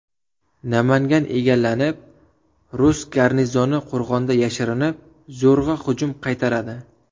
Namangan egallanib, rus garnizoni qo‘rg‘onda yashirinib, zo‘rg‘a hujumni qaytaradi.